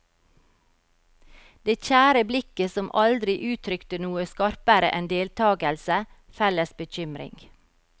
Det kjære blikket som aldri uttrykte noe skarpere enn deltakelse, felles bekymring.